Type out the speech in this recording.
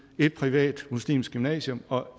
et privat muslimsk gymnasium og